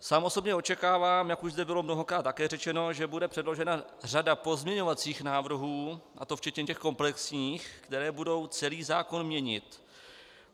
Sám osobně očekávám, jak už zde bylo mnohokrát také řečeno, že bude předložena řada pozměňovacích návrhů, a to včetně těch komplexních, které budou celý zákon měnit.